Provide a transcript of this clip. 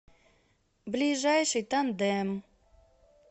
ближайший тандем